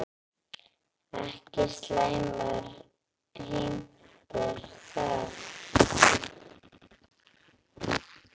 Ekki slæmar heimtur það.